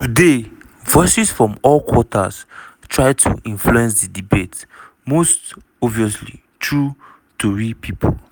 today voices from all quarters try to influence di debate – most obviously through tori pipo.